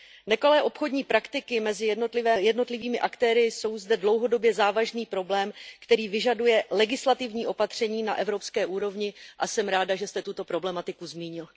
Nekalé obchodní praktiky mezi jednotlivými aktéry jsou zde dlouhodobě závažný problém, který vyžaduje legislativní opatření na evropské úrovni, a jsem ráda, že jste tuto problematiku zmínil.